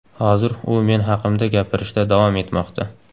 Hozir u men haqimda gapirishda davom etmoqda.